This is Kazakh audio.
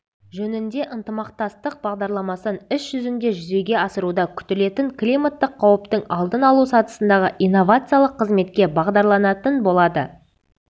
жөнінде ынтымақтастық бағдарламасын іс жүзінде жүзеге асыруда күтілетін климаттық қауіптің алдын алу сатысындағы инновациялық қызметке бағдарланатын болады